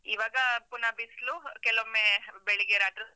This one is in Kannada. ಈವಾಗ ಪುನ ಬಿಸ್ಲು, ಕೆಲವೊಮ್ಮೆ ಬೆಳಿಗ್ಗೆ ರಾತ್ರ.